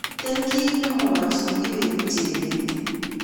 Mito kiy ne mwachini Kibet ,jebet